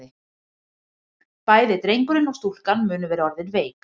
Bæði drengurinn og stúlkan munu vera orðin veik.